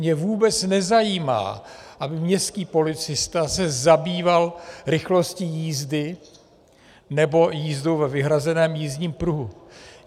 Mě vůbec nezajímá, aby městský policista se zabýval rychlostí jízdy nebo jízdou ve vyhrazeném jízdním pruhu.